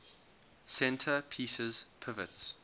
center pieces pivots